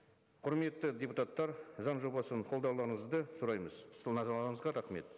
құрметті депутаттар заң жобасын қолдауларыңызды сұраймыз рахмет